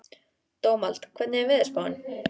Dómald, hvernig er veðurspáin?